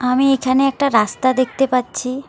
আমি এখানে একটা রাস্তা দেখতে পাচ্ছি।